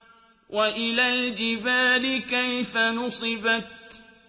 وَإِلَى الْجِبَالِ كَيْفَ نُصِبَتْ